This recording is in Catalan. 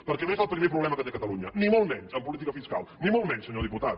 perquè no és el primer problema que té catalunya ni molt menys en política fiscal ni molt menys senyor diputat